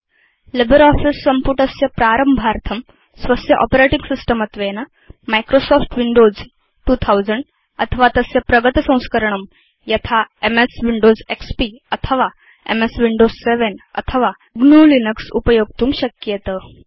LibreOffice सम्पुटस्य प्रारम्भार्थं स्वस्य आपरेटिंग सिस्टम् त्वेन माइक्रोसॉफ्ट विंडोज 2000 अथवा तस्य प्रगतसंस्करणं यथा एमएस विंडोज एक्सपी अथवा एमएस विंडोज 7 अथवा gnuलिनक्स उपयोक्तुं शक्येत